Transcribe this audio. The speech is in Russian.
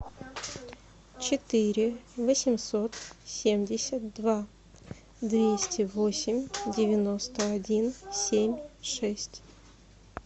четыре восемьсот семьдесят два двести восемь девяносто один семь шесть